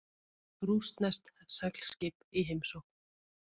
Rússneskt seglskip í heimsókn